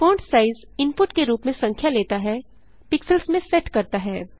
font size input के रूप में संख्या लेता है पिक्सेल्स में सेट करता है